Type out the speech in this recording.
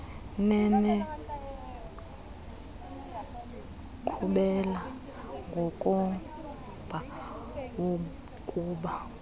nenenkqubela ngokomba wokuba